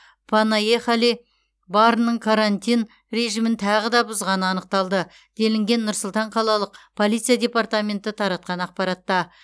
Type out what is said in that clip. панаехали барының карантин режимін тағы да бұзғаны анықталды делінген нұр сұлтан қалалық полиция департаменті таратқан ақпаратта